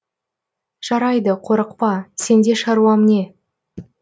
жарайды қорықпа сенде шаруам не